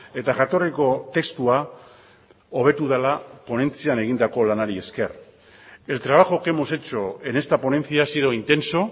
eta jatorriko testua hobetu dela ponentzian egindako lanari esker el trabajo que hemos hecho en esta ponencia ha sido intenso